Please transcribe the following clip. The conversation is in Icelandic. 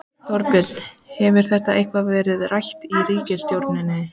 Þorbjörn: Hefur þetta eitthvað verið rætt í ríkisstjórninni?